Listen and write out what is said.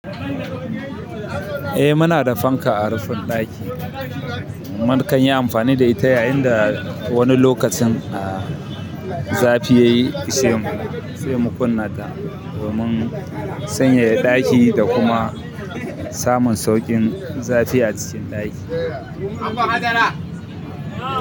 Eh muna da fanka a rufin ɗaki. Mu kan yi amfani da ita yayin da wani lokacin zafi ya yi ishemu sai mu kunna ta domin sanyaya ɗaki da kuma samun sauƙin zafi a cikin ɗaki.